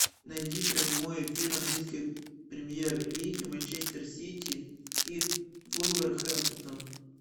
найди прямой эфир английской премьер лиги манчестер сити и вулверхэмптон